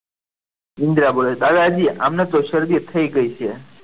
ઇન્દિરા બોલે છે દાદાજી આમને તો શરદી થઈ ગઈ છે.